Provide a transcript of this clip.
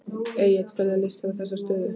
Egill hvernig líst þér á þessa stöðu?